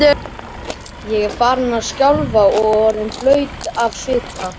Ég var farin að skjálfa og orðin blaut af svita.